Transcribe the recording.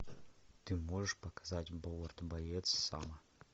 ты можешь показать повар боец сома